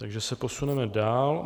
Takže se posuneme dál.